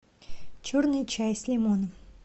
черный чай с лимоном